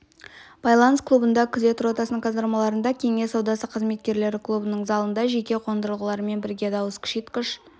байланыс клубында күзет ротасының казармаларында кеңес саудасы қызметкерлері клубының залында жеке қондырғылармен бірге дауыс күшейткіш